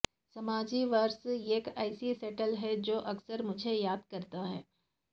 سماجی ورثہ ایک ایسی سٹائل ہے جو اکثر مجھے یاد کرتا ہے